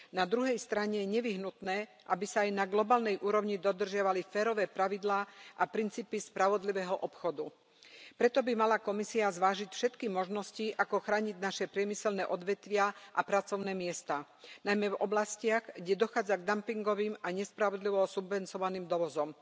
Na druhej strane je nevyhnutné, aby sa aj na globálnej úrovni dodržiavali férové pravidlá a princípy spravodlivého obchodu, preto by mala Komisia zvážiť všetky možnosti, ako chrániť naše priemyselné odvetvia a pracovné miesta, najmä v oblastiach, kde dochádza k dumpingovým a nespravodlivo subvencovaným dovozom.